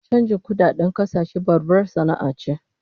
Chanjin kudadedn kasashe babbar sana'a ce